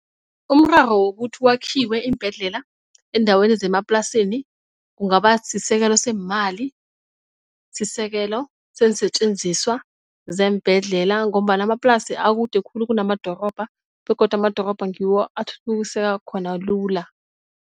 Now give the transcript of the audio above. Umraro wokuthi kwakhiwe iimbhedlela eendaweni zemaplasini kungaba sisekele seemali, sisekelo seensetjenziswa zeembhendlela ngombana amaplasi akude khulu kunamadorobha begodu amadorobha ngiwo athuthukiseka khona lula.